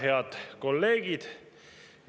Head kolleegid!